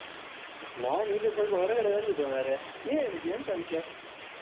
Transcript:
ನಾನು ಹೀಗೆ ಸ್ವಲ್ಪ ಹೊರಗಡೆ ಬಂದಿದ್ದು ಮಾರಯಾ. ನೀ ಎಲ್ಲಿದ್ದಿ ಎಂತ ವಿಷಯ?